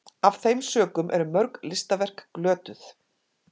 af þeim sökum eru mörg listaverk glötuð